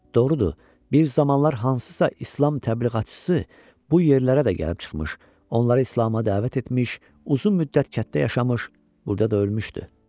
Doğrudur, bir zamanlar hansısa İslam təbliğatçısı bu yerlərə də gəlib çıxmış, onları İslama dəvət etmiş, uzun müddət kənddə yaşamış, burada da ölmüşdü.